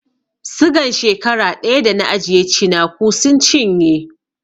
Sigan shekara ɗaya da na ajiye cinaku sun cinye